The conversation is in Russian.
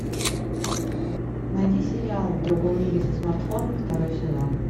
найди сериал в другом мире со смартфоном второй сезон